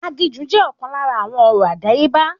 Aginjù jẹ́ ọ̀kan lára àwọn ọ̀rọ̀ àdáyébá